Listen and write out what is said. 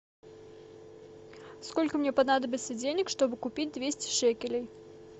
сколько мне понадобится денег чтобы купить двести шекелей